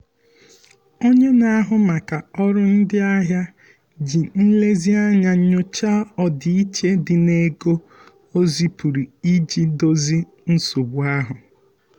onye na-ahụ maka ọrụ ndị ahịa ji nlezianya nyochaa ọdịiche dị n'ego o zipụrụ iji dozie nsogbu ahụ.